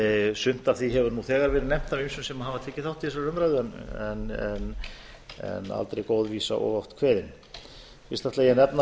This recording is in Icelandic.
sumt af því hefur nú þegar verið nefnt af ýmsum sem hafa tekið þátt í þessari umræðu en aldrei er góð vísa of oft kveðin fyrst ætla ég að